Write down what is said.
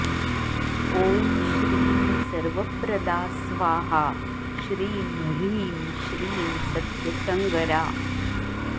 ॐ श्रीं सर्वप्रदा स्वाहा श्रीं ह्रीं श्रीं सत्यसङ्गरा